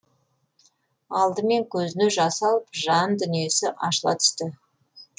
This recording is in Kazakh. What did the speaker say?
алдымен көзіне жас алып жан дүниесі ашыла түсті